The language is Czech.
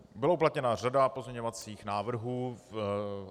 Byla uplatněna řada pozměňovacích návrhů.